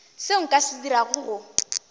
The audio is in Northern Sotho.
seo nka se dirago go